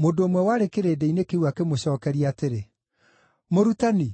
Mũndũ ũmwe warĩ kĩrĩndĩ-inĩ kĩu akĩmũcookeria atĩrĩ, “Mũrutani,